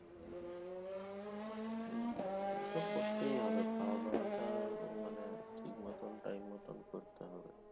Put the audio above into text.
হম সেতো করতেই হবে। খাওয়াদাওয়াটা মানে ঠিক মতন time মতন করতে হবে।